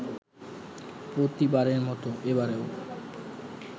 প্রতিবারের মতো এবারেও